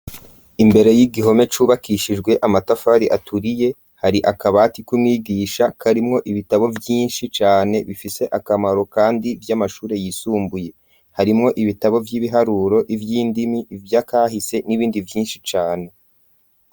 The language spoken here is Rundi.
Imbere y'igihome cubakishijwe amatafari aturiye hari akabati kumwigisha karimwo ibitabo vyinshi cane bifise akamaro kandi vy'amashure yisumbuye harimwo ibitabo vy'ibiharuro ,ivy'indimi ivyakahise n'ibindi vyinshi cane.